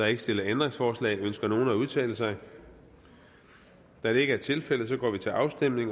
ikke stillet ændringsforslag ønsker nogen at udtale sig da det ikke er tilfældet går vi til afstemning